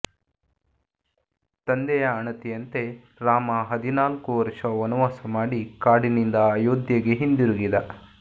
ತಂದೆಯ ಆಣತಿಯಂತೆ ರಾಮ ಹದಿನಾಲ್ಕು ವರುಷ ವನವಾಸ ಮಾಡಿ ಕಾಡಿನಿಂದ ಅಯೋಧ್ಯೆಗೆ ಹಿಂದಿರುಗಿದ